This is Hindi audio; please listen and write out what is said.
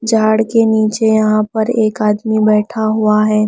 झाड़ के नीचे यहां पर एक आदमी बैठा हुआ है।